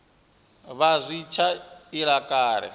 vha zwi tshi ila kale